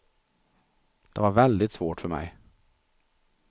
Det var väldigt svårt för mig.